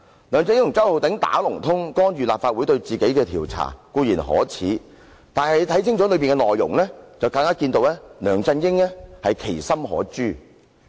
梁振英和周浩鼎議員"打同通"，干預立法會對他的調查固然可耻，但大家細閱他修改後的文件內容，就更能看出梁振英其心可誅。